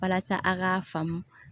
Walasa a k'a faamu